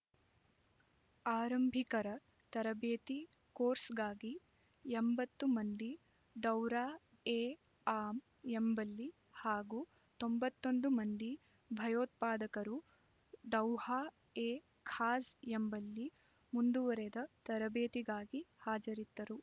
ಆರಂಭಿಕರ ತರಬೇತಿ ಕೋರ್ಸ್‌ಗಾಗಿ ಎಂಬತ್ತು ಮಂದಿ ಡೌರಾಎಆಮ್ ಎಂಬಲ್ಲಿ ಹಾಗೂ ತೊಂಬತ್ತ್ ಒಂದು ಮಂದಿ ಭಯೋತ್ಪಾದಕರು ಡೌಹಾ ಎ ಖಾಸ್ ಎಂಬಲ್ಲಿ ಮುಂದುವರೆದ ತರಬೇತಿಗಾಗಿ ಹಾಜರಿದ್ದರು